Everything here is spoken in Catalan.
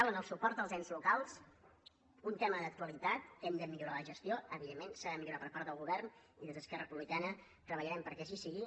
o en el suport als ens locals un tema d’actualitat que hem de millorar ne la gestió evidentment s’ha de millorar per part del govern i des d’esquerra republicana treballarem perquè així sigui